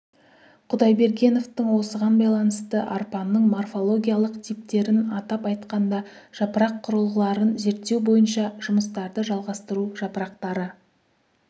құдайбергеновтың осыған байланысты арпаның морфологиялық типтерін атап айтқанда жапырақ құрылғыларын зерттеу бойынша жұмыстарды жалғастыру жапырақтары